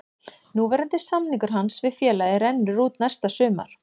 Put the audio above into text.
Núverandi samningur hans við félagið rennur út næsta sumar.